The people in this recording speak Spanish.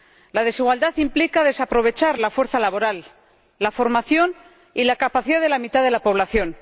La desigualdad implica desaprovechar la fuerza laboral, la formación y la capacidad de la mitad de la población.